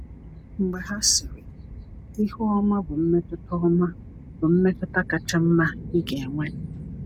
Mgbe ha sịrị, ‘Ihu ọma bụ mmetụta ọma bụ mmetụta kacha mma ị ga-enwe.’